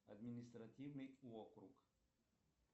административный округ